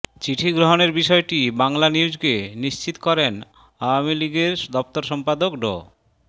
চিঠি গ্রহণের বিষয়টি বাংলানিউজকে নিশ্চিত করেন আওয়ামী লীগের দফতর সম্পাদক ড